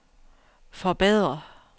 forbedre